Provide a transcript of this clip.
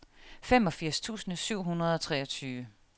femogfirs tusind syv hundrede og treogtyve